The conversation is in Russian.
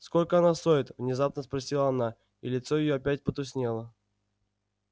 сколько она стоит внезапно спросила она и лицо её опять потускнело